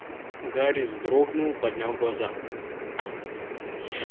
гарри вздрогнул поднял глаза